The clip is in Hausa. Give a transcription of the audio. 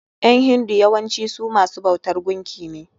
ƴan hindu yawancin su masu bautan gunki ne.